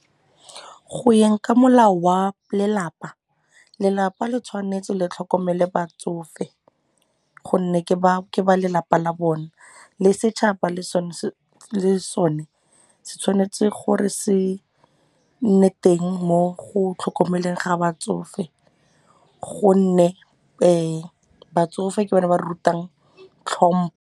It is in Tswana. Go yeng ka molao wa lelapa, lelapa le tshwanetse le tlhokomele batsofe gonne ke ba lelapa la bone le setšhaba le sone se tshwanetse gore se nne teng mo go tlhokomeleng ga batsofe gonne batsofe ke bone ba rutang tlhompho.